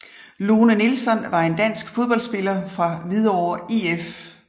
Lone Nilsson var en dansk fodboldspiller fra Hvidovre IF